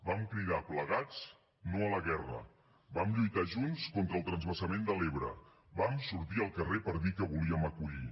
vam cridar plegats no a la guerra vam lluitar junts contra el transvasament de l’ebre vam sortir al carrer per dir que volíem acollir